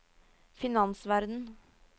finansverden